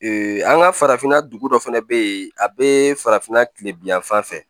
an ka farafinna dugu dɔ fɛnɛ be yen a be farafinna kile bi yan fan fɛ